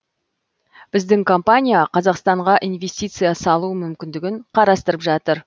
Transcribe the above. біздің компания қазақстанға инвестиция салу мүмкіндігін қарастырып жатыр